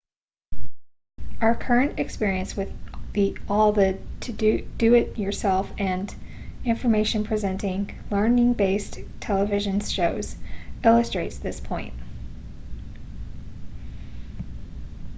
our current experience with all the do-it-yourself and information presenting learning-based television shows illustrates this point